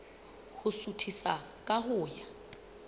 ho suthisa ka ho ya